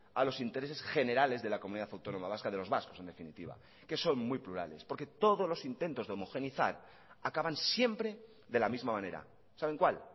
a los intereses generales de la comunidad autónoma vasca de los vascos en definitiva que son muy plurales porque todos los intentos de homogeneizar acaban siempre de la misma manera saben cuál